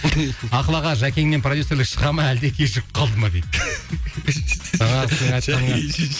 ақыл аға жәкеңнен продюссерлік шыға ма әлде кешігіп қалды ма дейді